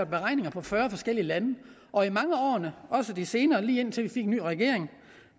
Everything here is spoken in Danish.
beregninger for fyrre forskellige lande og i mange af årene også de senere lige indtil vi fik en ny regering